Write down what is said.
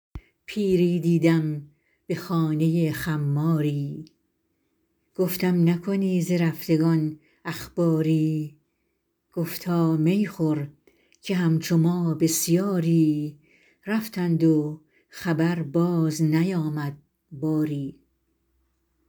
پیری دیدم به خانه خماری گفتم نکنی ز رفتگان اخباری گفتا می خور که همچو ما بسیاری رفتند و خبر باز نیامد باری